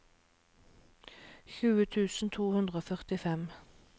tjue tusen to hundre og førtifem